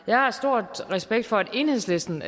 jeg har stor respekt for at enhedslisten